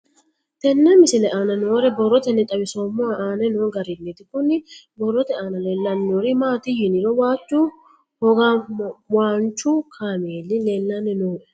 Tenne misile aana noore borroteni xawiseemohu aane noo gariniiti. Kunni borrote aana leelanori maati yiniro waaju hogawaanchu kameelli leelanni nooe.